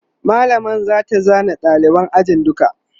mallamar zata zana ɗaliban ajin duka